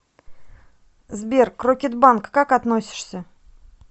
сбер к рокетбанк как относишься